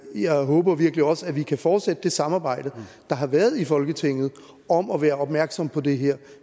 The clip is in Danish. jeg håber virkelig også at vi kan fortsætte det samarbejde der har været i folketinget om at være opmærksom på det her